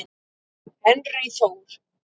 Henry Þór.